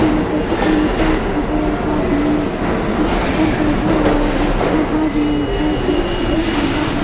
यहाँ पर फिटनेस है जो एक आदमी डंपल उठाया हुआ है और बाजु में एक है जो उसको देख रहा है।